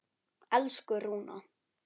Elsku Rúna.